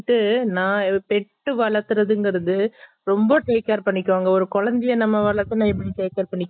pet நாய் pet வளத்துறதுகிறது ரொம்ப take care பண்ணிக்குவாங்க ஒரு குழந்தையா நம்ம வளத்துனா எப்படி take care பண்ணிக்குவோம்